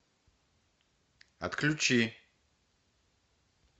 отключи